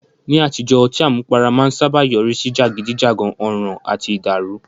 Ní àtijọ́, ọtí àmupara máa ń sáábà yọrí sí jàgídíjàgan, ọ̀ràn àti ìdàrù.